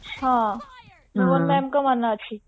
ହଁ ମୋହନ ma'am ଙ୍କ ମନେ ଅଛି